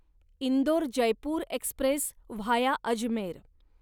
Indore Jaipur express via Ajmer